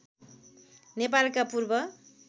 नेपालका पूर्व